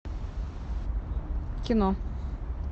кино